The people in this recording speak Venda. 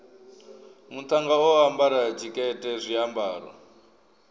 muṱhannga o ambara tshikete zwiambaro